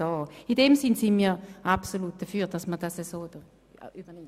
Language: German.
In diesem Sinn sind wir absolut dafür, das so zu übernehmen.